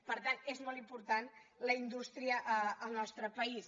per tant és molt important la indústria al nostre país